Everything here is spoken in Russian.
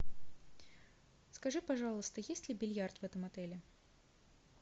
скажи пожалуйста есть ли бильярд в этом отеле